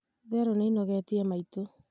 therũ nĩĩnogetie maitũ